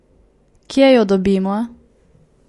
Kje jo dobimo?